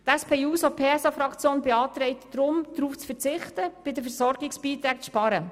Die SP-JUSO-PSA-Fraktion beantragt deshalb, darauf zu verzichten, bei den Versorgungsbeiträgen zu sparen.